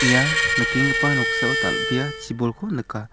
ia nikenggipa noksao dal·bea chibolko nika.